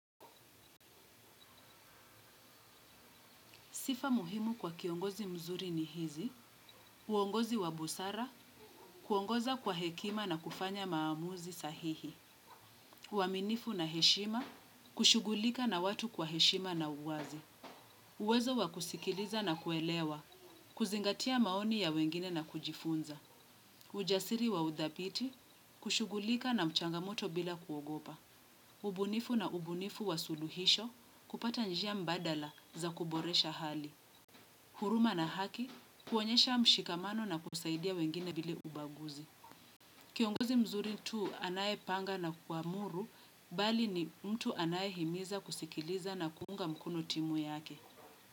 Sifa muhimu kwa kiongozi mzuri ni hizi, uongozi wa busara, kuongoza kwa hekima na kufanya maamuzi sahihi. Uaminifu na heshima, kushugulika na watu kwa heshima na uwazi. Uwezo wa kusikiliza na kuelewa, kuzingatia maoni ya wengine na kujifunza. Ujasiri wa udhabiti, kushugulika na mchangamoto bila kuogopa. Ubunifu na ubunifu wa suluhisho, kupata njia mbadala za kuboresha hali. Huruma na haki, kuonyesha mshikamano na kusaidia wengine bila ubaguzi. Kiongozi mzuri tu anaye panga na kuamuru, bali ni mtu anaye himiza kusikiliza na kuunga mkono timu yake.